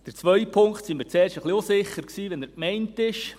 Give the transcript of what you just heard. Der zweite Punkt: Wir waren zuerst ein wenig unsicher, wie er gemeint ist.